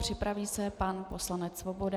Připraví se pan poslanec Svoboda.